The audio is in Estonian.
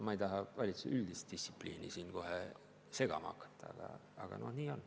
Ma ei taha valitsuse üldist distsipliini siin kohe segama hakata, aga nii on.